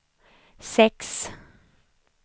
sex